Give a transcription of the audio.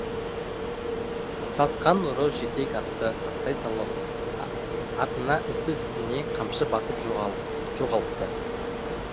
сасқан ұры жетек атты тастай салып атына үсті үстіне қамшы басып жоғалыпты